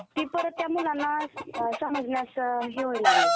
ती परत त्या मुलांना समजण्यास हे होऊ लागलं